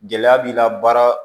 Gɛlɛya b'i la baara